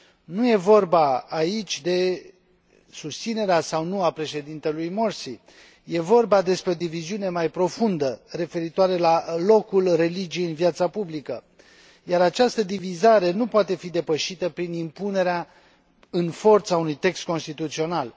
Nu e vorba, aici, de susținerea sau nu a președintelui Morsi, e vorba despre o diviziune mai profundă, referitoare la locul religiei în viața publică, iar această divizare nu poate fi depășită prin impunerea în forță a unui text constituțional.